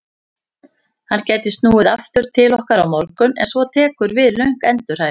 Hann gæti snúið aftur til okkar á morgun en svo tekur við löng endurhæfing.